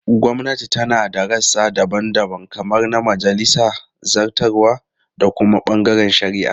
Gwamnati tana da rassa daban-daban kamar na majalisa, zartarwa, da kuma bangaren shari'a.